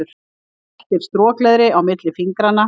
Veltir strokleðri á milli fingranna.